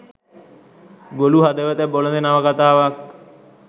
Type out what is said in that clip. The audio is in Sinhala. ගොළු හදවත බොළඳ නවකතාවක්